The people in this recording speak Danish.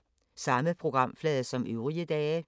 Samme programflade som øvrige dage